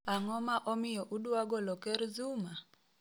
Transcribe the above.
"Ang'oma omiyo udwa golo ker Zuma?